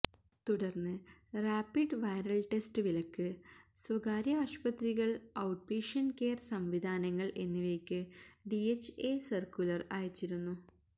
തുടര്ന്ന് rapid viral test വിലക്ക് സ്വകാര്യ ആശുപത്രികള് ഔട്ട്പേഷ്യന്റ് കെയര് സംവിധാനങ്ങള് എന്നിവയ്ക്ക് ഡിഎച്ച്എ സര്ക്കുലര് അയച്ചിരുന്നു